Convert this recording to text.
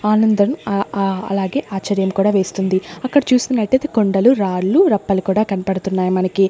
ఆనందం ఆ ఆ అలాగే ఆశ్చర్యం కూడా వేస్తుంది అక్కడ చూస్తున్నతైతే కొండలు రాళ్లు రప్పలు కూడా కన్పడుతున్నాయి మనకి.